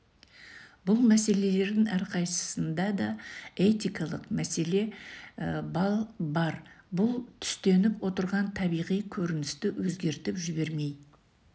бұл мәселелердің әрқайсысында да этикалық мәселе бар бұл түстеніп отырған табиғи көріністі өзгертіп жібермей